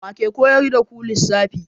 Wa ke koyar da ku lissafi?